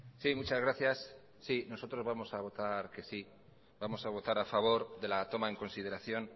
sí muchas gracias si nosotros vamos a votar que sí vamos a votar a favor de la toma en consideración